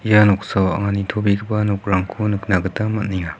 ia noksao anga nitobegipa nokrangko nikna gita man·enga.